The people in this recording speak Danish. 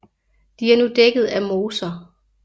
De er nu dækket af moser